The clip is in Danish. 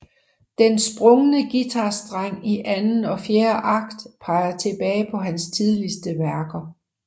Den sprungne guitarstreng i anden og fjerde akt peger tilbage på hans tidligste værker